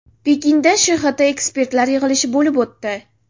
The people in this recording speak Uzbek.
Pekinda ShHT ekspertlar yig‘ilishi bo‘lib o‘tdi.